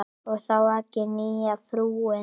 Og þá ekki nýja frúin.